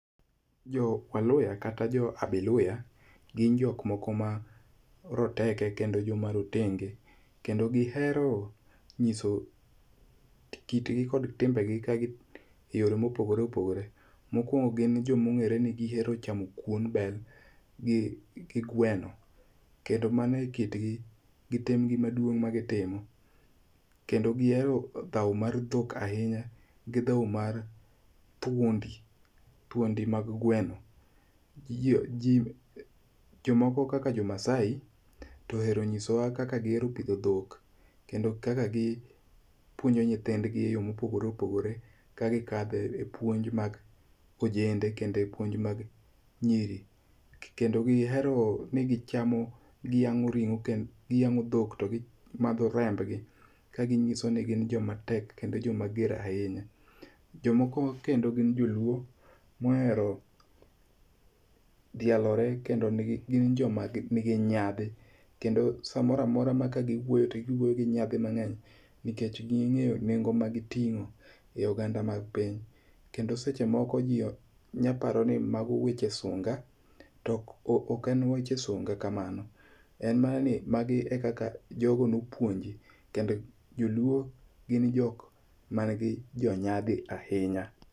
Jo waluya kata jo abaluya gin jok moko ma roteke kendo joma rotenge. Kendo gihero nyiso kit gi kod timbegi kagi e yore mopogore opogore. Mokwongo gin jomong'ere ni gihero chamo kuon bel gi gweno. Kendo mano e kit gi gi tim gi maduong' ma gi timo. Kendo gihero dhaw mar dhok ahinya gi dhaw mag thuondi mag gweno. Jomoko kaka jo Maasai to ohero nyiso wa kaka gihero pidho dhok kendo kaka gi puonjo nyithind gi e yo mopogore opogore ka gikadhe e puonj mag ojende kendo e puonj mag nyiri. Kendo gihero ni gichamo giyang'o ring'o giyang'o dhok to gimadho rembgi ka gi nyiso ni gin jomatek kendo joma ger ahinya. Jomoko kendo gi jo luo mohero dhialore kendo gin joma nigi nyadhi. Kendo samoramora ma ka giwuoyo to giwuoyo gi nyadhi mang'eny nikech ging'eyo nengo magiting'o e oganda mag piny. Kendo seche moko ji nyaparo ni mago weche sunga. To ok e weche sunga kamano. En mana ni magi ekaka jogo nopuonji kendo joluo gin jok mani gi jonyadhi ahinya.